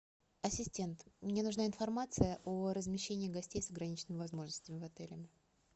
ассистент мне нужна информация о размещении гостей с ограниченными возможностями в отеле